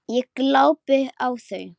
Ég glápi á þau.